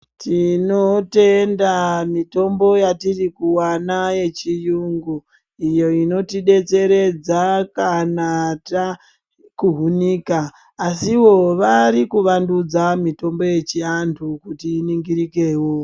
Tinotenda mitombo yatiri kuwana yechiyungu, iyo inotidetseredza kana takuhunika. Asiwo vari kuvandudzwa mitombo yechiantu kuti iningirikewo.